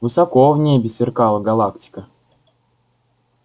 высоко в небе сверкала галактика